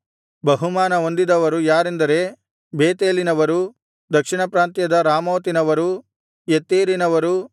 ಬಹುಮಾನ ಹೊಂದಿದವರು ಯಾರೆಂದರೆ ಬೇತೇಲಿನವರು ದಕ್ಷಿಣ ಪ್ರಾಂತ್ಯದ ರಾಮೋತಿನವರು ಯತ್ತೀರಿನವರು